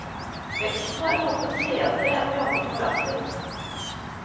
Veksten har kommet senere enn vi hadde forventet.